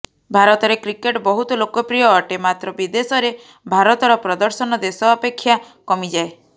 ଭାରତରେ କ୍ରିକେଟ ବହୁତ ଲୋକପ୍ରିୟ ଅଟେ ମାତ୍ର ବିଦେଶ ରେ ଭାରତର ପଦର୍ଶନ ଦେଶ ଅପେକ୍ଷା କମିଯାଏ